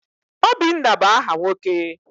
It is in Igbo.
Obinna bụ aha nwoke.